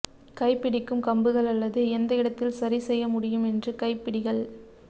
கைபிடிக்கும் கம்புகள் அல்லது எந்த இடத்தில் சரி செய்ய முடியும் என்று கைப்பிடிகள்